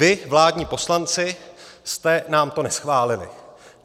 Vy, vládní poslanci, jste nám to neschválili.